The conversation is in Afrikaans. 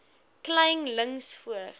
kleyn links voor